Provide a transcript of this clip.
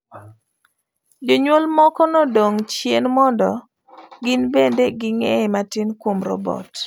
Jonyuol moko nodong' chien mondo gin bende ging'eye matin kuom robot.